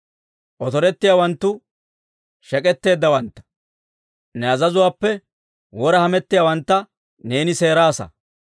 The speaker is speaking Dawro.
Otorettiyaawanttu, shek'k'etteeddawantta, ne azazuwaappe wora hamettiyaawantta, neeni seeraasa.